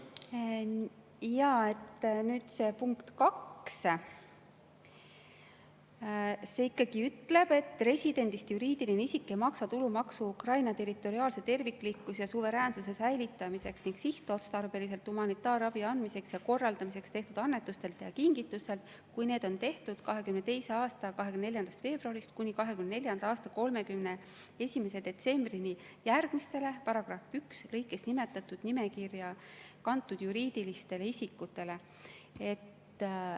punkt 2 ikkagi ütleb, et residendist juriidiline isik ei maksa tulumaksu Ukraina territoriaalse terviklikkuse ja suveräänsuse säilitamiseks ning sihtotstarbeliselt humanitaarabi andmiseks ja korraldamiseks tehtud annetustelt ja kingitustelt, kui need on tehtud 2022. aasta 24. veebruarist kuni 2024. aasta 31. detsembrini järgmistele § lõikes nimetatud nimekirja kantud juriidilistele isikutele.